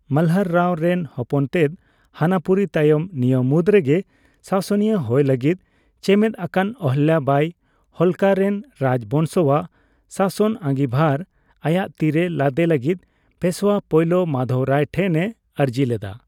ᱢᱟᱞᱦᱟᱨ ᱨᱟᱣ ᱨᱮᱱ ᱦᱚᱯᱚᱱᱛᱮᱫ ᱦᱟᱱᱟᱯᱩᱨᱤ ᱛᱟᱭᱚᱢ ᱱᱤᱭᱟᱹ ᱢᱩᱫᱽ ᱨᱮᱜᱮ ᱥᱟᱥᱚᱱᱤᱭᱟᱹ ᱦᱳᱭ ᱞᱟᱜᱤᱫ ᱪᱮᱢᱮᱫ ᱟᱠᱟᱱ ᱚᱦᱚᱞᱞᱟᱵᱟᱭ, ᱦᱳᱞᱠᱟᱨᱮᱱ ᱨᱟᱡᱽ ᱵᱚᱝᱥᱚᱣᱟᱜ ᱥᱟᱥᱚᱱ ᱟᱸᱜᱤᱵᱷᱟᱨ ᱟᱭᱟᱜ ᱛᱤᱨᱮ ᱞᱟᱫᱮ ᱞᱟᱜᱤᱫ ᱯᱮᱹᱥᱳᱣᱟ ᱯᱳᱭᱞᱳ ᱢᱟᱫᱷᱚᱵᱽ ᱨᱟᱣ ᱴᱷᱮᱱ ᱮ ᱟᱨᱡᱤ ᱞᱮᱫᱟ ᱾